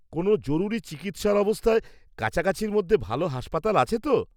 -কোন জরুরী চিকিৎসার অবস্থায় কাছাকাছির মধ্যে ভালো হাসপাতাল আছে তো?